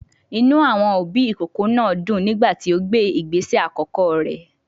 Inú àwọn òbí ìkókó náà dùn nígbà tí ó gbé ìgbésẹ àkọ́kọ́ rẹ̀.